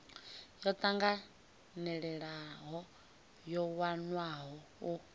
yo tanganelaho yo wanwaho u